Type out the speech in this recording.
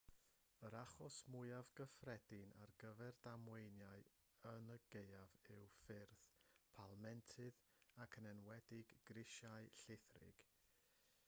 yr achos mwyaf cyffredin ar gyfer damweiniau yn y gaeaf yw ffyrdd palmentydd ac yn enwedig grisiau llithrig